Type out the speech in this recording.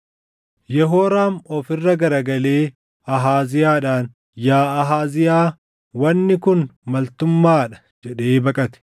Yehooraam of irra garagalee Ahaaziyaadhaan, “Yaa Ahaaziyaa, wanni kun maltummaa dha!” jedhee baqate.